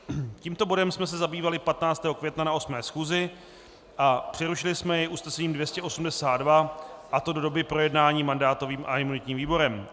Tímto bodem jsme se zabývali 15. května na 8. schůzi a přerušili jsme jej usnesením 282, a to do doby projednání mandátovým a imunitním výborem.